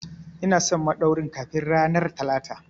Ina son madauwarin kafin ranar Talata!